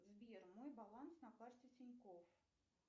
сбер мой баланс на карте тинькофф